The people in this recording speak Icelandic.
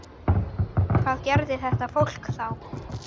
Dyr og munnvik renna saman.